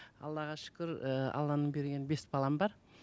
аллаға шүкір ііі алланың берген бес балам бар